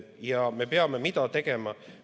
Mida me peame tegema?